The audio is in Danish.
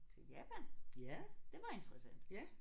Til Japan. Det var interessant